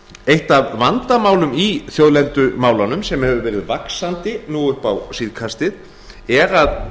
eitt af vandamálum í þjóðlendumálunum sem hefur verið vaxandi nú upp á síðkastið er að